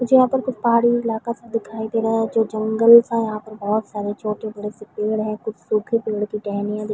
मुझे यहाँ पर कुछ पहाड़ी इलाका सा दिखाई दे रहा है जो जंगल सा है यहाँ पर बहुत सारे छोटे बड़े से पेड़ हैं कुछ सूखे पेड़ की टहनियाँ दिख--